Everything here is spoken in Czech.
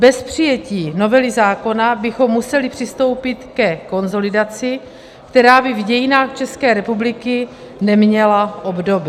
Bez přijetí novely zákona bychom museli přistoupit ke konsolidaci, která by v dějinách České republiky neměla obdoby.